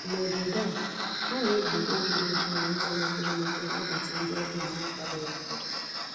N' Obodo a, a na-eji obi dị ọcha na uzo mepere emepe anabata ndị ọbịa na-akwadoghi akwado.